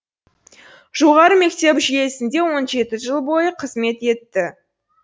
жоғары мектеп жүйесінде он жеті жыл бойы қызмет етті